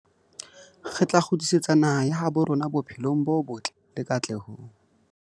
Re tla kgutlisetsa naha ya habo rona bophelong bo botle le katlehong.